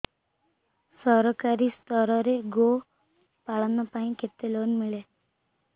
ସରକାରୀ ସ୍ତରରେ ଗୋ ପାଳନ ପାଇଁ କେତେ ଲୋନ୍ ମିଳେ